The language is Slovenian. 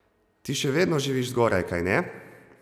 Ti še vedno živiš zgoraj, kajne?